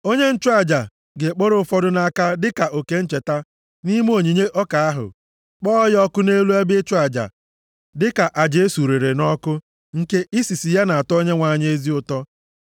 Onye nchụaja ga-ekporo ụfọdụ nʼaka dịka oke ncheta nʼime onyinye ọka ahụ, kpọọ ya ọkụ nʼelu ebe ịchụ aja dịka aja e surere nʼọkụ, nke isisi ya na-atọ Onyenwe anyị ezi ụtọ.